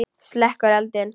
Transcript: Slekkur eldinn.